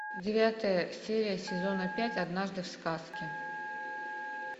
девятая серия сезона пять однажды в сказке